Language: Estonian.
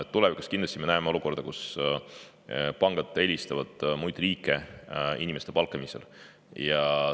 Tulevikus me näeme kindlasti olukorda, kus pangad eelistavad inimeste palkamisel muid riike.